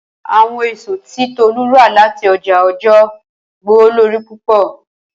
Awọn eso ti Tolu rà lati ọjà Ọ̀jọọ gbówólórí púpọ̀.